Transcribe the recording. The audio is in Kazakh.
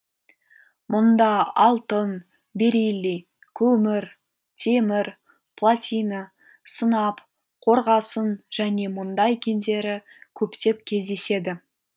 мұнда алтын бериллий көмір темір платина сынап қорғасын және мұндай кендері көптеп кездеседі